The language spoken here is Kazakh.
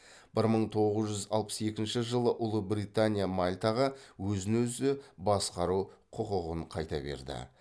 бір мың тоғыз жүз алпыс екінші жылы ұлыбритания мальтаға өзін өзі басқару құқын қайта берді